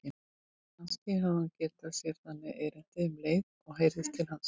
Kannski hafði hún gert sér þangað erindi um leið og heyrðist til hans.